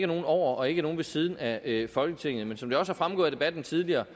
nogen over og ikke nogen ved siden af folketinget men som det også er fremgået af debatten tidligere